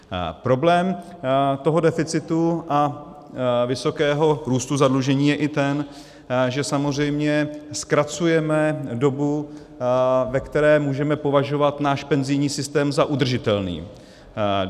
Problém toho deficitu a vysokého růstu zadlužení je i ten, že samozřejmě zkracujeme dobu, ve které můžeme považovat náš penzijní systém za udržitelný.